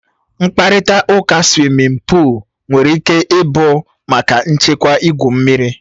Mkparịta ụka suwimin pụụl nwere ike ịbụ maka nchekwa igwu mmiri.